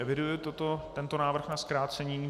Eviduji tento návrh na zkrácení.